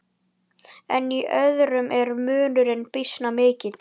En í öðrum er munurinn býsna mikill.